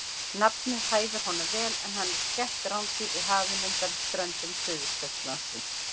Nafnið hæfir honum vel en hann er skætt rándýr í hafinu undan ströndum Suðurskautslandsins.